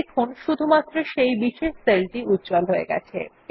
দেখুন শুধুমাত্র একটি বিশেষ সেল উজ্জ্বল হয়ে গেছে